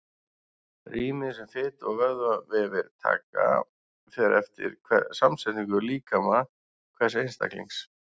Rýmið sem fitu- og vöðvavefir taka fer eftir samsetningu líkama hvers einstaklings.